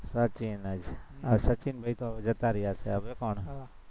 સચિન હવે સચિન જતા રયા છે હવે પણ